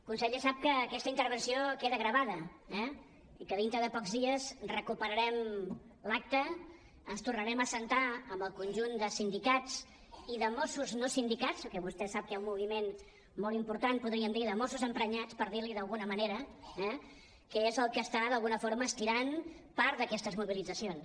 conseller sap que aquesta intervenció queda gravada eh i que dintre de pocs dies recuperarem l’acta ens tornarem a asseure amb el conjunt de sindicats i de mossos no sindicats perquè vostè sap que hi ha un moviment molt im·portant podríem dir de mossos emprenyats per dir·ne d’alguna manera que és el que està d’alguna forma estirant part d’aquestes mobilitzacions